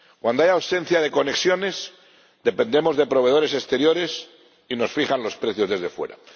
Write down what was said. Cuando hay ausencia de conexiones, dependemos de proveedores exteriores y nos fijan los precios desde fuera.